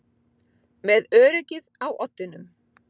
Með öryggið á oddinum